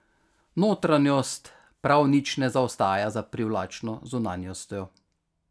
Notranjost prav nič ne zaostaja za privlačno zunanjostjo.